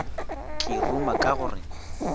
ke ruma ka go re